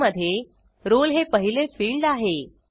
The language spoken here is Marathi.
फाईलमधे rollहे पहिले फिल्ड आहे